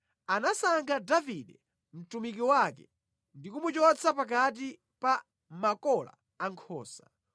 Anasankha Davide mtumiki wake ndi kumuchotsa pakati pa makola ankhosa;